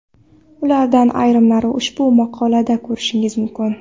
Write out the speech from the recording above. Ulardan ayrimlarini ushbu maqola da ko‘rishingiz mumkin.